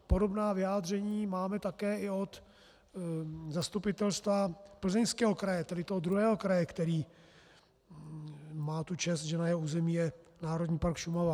Podobná vyjádření máme také i od Zastupitelstva Plzeňského kraje, tedy toho druhého kraje, který má tu čest, že na jeho území je Národní park Šumava.